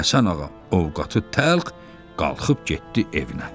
Həsən ağa, ovqatı təlx qalxıb getdi evinə.